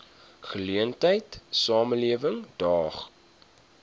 geleentheid samelewing daag